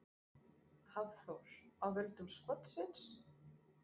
Hafþór: Af völdum skotsins?